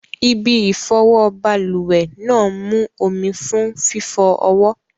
Ibi ìfọwọ́ balùwẹ̀ náà mú omi fún fífọ ọwọ́.